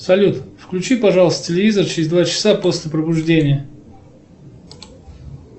салют включи пожалуйста телевизор через два часа после пробуждения